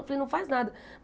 Eu falei, não faz nada.